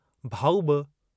भाऊ बि